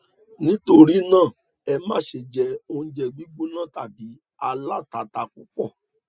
nítorí náà ẹ má ṣe jẹ oúnjẹ gbígbóná tàbí alátatà púpọ